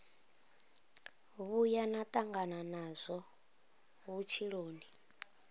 vhuya na tangana nazwo vhutshiloni